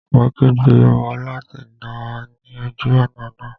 Mo kígbe mọ́ láùtì náà ní ojú ọ̀nà náà